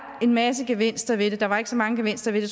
en masse gevinster ved det der var ikke så mange gevinster ved